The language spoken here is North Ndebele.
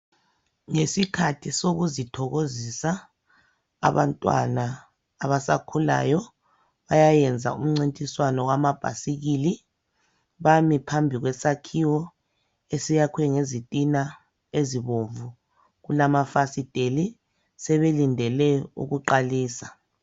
ngesikhathi sokukuzithokozisa kulabantwana abasakhulayo bayayenza umcintiswano wamabhayisikile bami phambi kwesakhiwo esiyakhwe ngezitina ezimhlophe kulamafasitela balindele ukuqakalisa